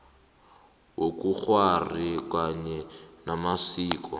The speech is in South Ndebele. wobukghwari kanye namasiko